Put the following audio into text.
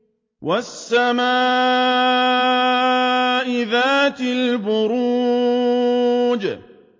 وَالسَّمَاءِ ذَاتِ الْبُرُوجِ